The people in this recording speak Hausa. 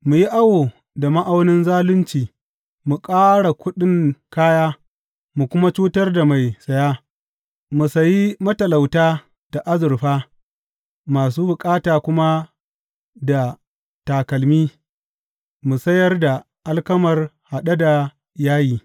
Mu yi awo da ma’aunin zalunci mu ƙara kuɗin kaya mu kuma cutar da mai saya, mu sayi matalauta da azurfa masu bukata kuma da takalmi, mu sayar da alkamar haɗe da yayi.